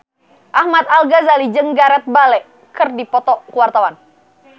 Ahmad Al-Ghazali jeung Gareth Bale keur dipoto ku wartawan